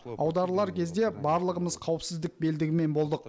аударылар кезде барлығымыз қауіпсіздік белдігімен болдық